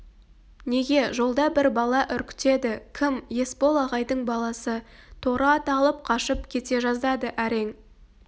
неге жолда бір бала үркітеді кім есбол ағайдың баласы торы ат алып қашып кете жаздады әрең